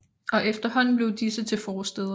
Og efterhånden blev disse til forstæder